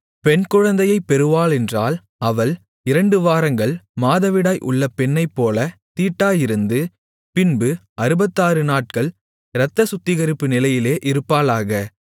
பெண்குழந்தையைப் பெறுவாளென்றால் அவள் இரண்டு வாரங்கள் மாதவிடாய் உள்ள பெண்ணைப்போலத் தீட்டாயிருந்து பின்பு அறுபத்தாறு நாட்கள் இரத்தச் சுத்திகரிப்பு நிலையிலே இருப்பாளாக